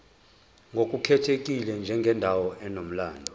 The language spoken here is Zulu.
ngokukhethekile njengendawo enomlando